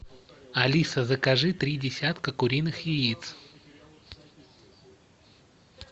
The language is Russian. алиса закажи три десятка куриных яиц